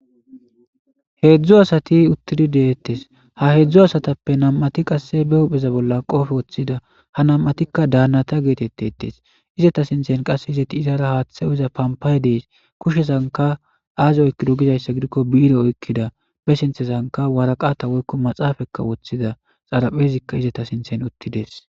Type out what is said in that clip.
Heedzdzu asati uttidi deettes. Ha heedzdzu asatappe nam7ati qasse be hupheza bolla qoobe woththida. ha nam7atikka daannata geetettettes. izeta sinthen qasse izeti izara haaththa iza pampaye dees. kushshesanka aazi oykkido gizayssa gidikko biire oykkida be sinthesanka waraqata woykko maxaafakka woththida xaraphezikka izeta sinthen uttides.